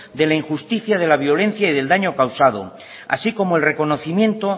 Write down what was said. de la injusticia de la violencia y del daño causado así como el reconocimiento